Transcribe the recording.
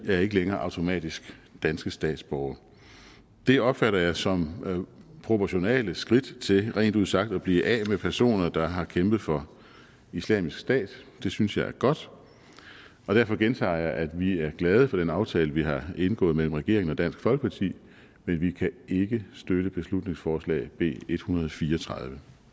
er ikke længere automatisk danske statsborgere det opfatter jeg som proportionale skridt til rent ud sagt at blive af med personer der har kæmpet for islamisk stat det synes jeg er godt derfor gentager jeg at vi er glade for den aftale vi har indgået mellem regeringen og dansk folkeparti men vi kan ikke støtte beslutningsforslag b en hundrede og fire og tredive